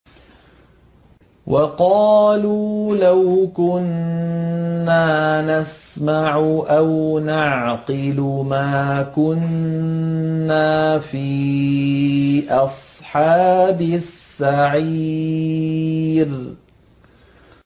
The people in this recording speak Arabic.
وَقَالُوا لَوْ كُنَّا نَسْمَعُ أَوْ نَعْقِلُ مَا كُنَّا فِي أَصْحَابِ السَّعِيرِ